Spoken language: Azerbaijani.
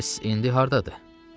Bəs indi hardadır?